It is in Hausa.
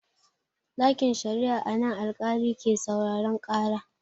Ɗakin sharia a nan alƙali ke sauraren ƙara.